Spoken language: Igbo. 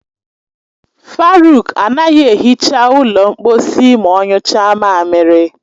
Faruk anaghị ehicha ụlọ mkposi ma ọ nyụcha mamiri.